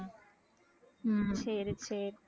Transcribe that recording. ஹம் சரி சரி